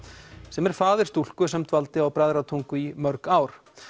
sem er faðir stúlku sem dvaldi á Bræðratungu í mörg ár